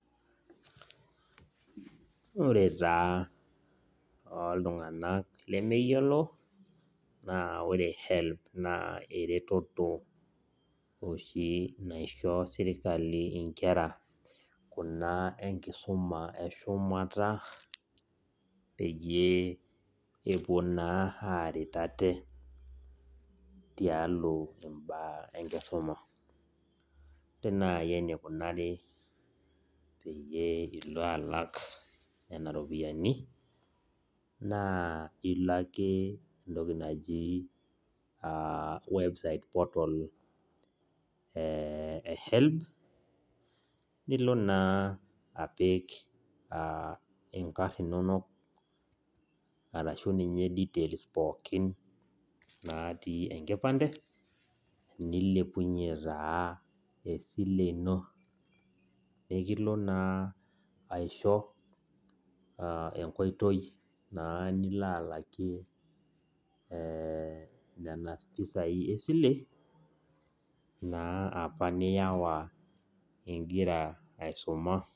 Ore taaa tooltung'ak lemeyiolo naa ore helb naa ereteto neisho serkali inkera kuna enkisuma eshumata peyie epuo naa aaret ate tialo imbaa enkisuma ore naaji eneikunari pee ilo alak nena ropiyiani naa ilo ake entoki naji website portal e helb nilo naa aapik inkarn inono ashu ninye details pookin naatii enkipande neilepunyie naa esili ino nikilo naa aisho enkoitoi nilo. alamie nena pesai esili apa naa niyawa ingira aisuma